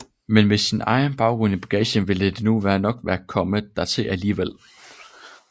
Men med sin egen baggrund i bagagen ville det nu nok være kommet dertil alligevel